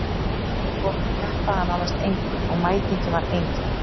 Við vorum að keppa að nánast engu og mætingin var engin.